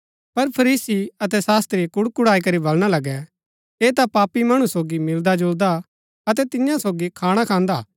पर फरीसी अतै शास्त्री कुड़कुड़ाई करी बलणा लगै ऐह ता पापी मणु सोगी मिलदा जुलदा अतै तियां सोगी खाणा खान्दा